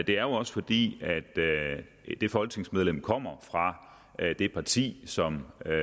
det er jo også fordi det folketingsmedlem kommer fra et parti som er